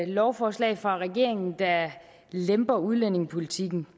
lovforslag fra regeringen der lemper udlændingepolitikken